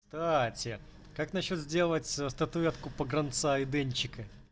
кстати как насчёт сделать статуэтку погранца и денчика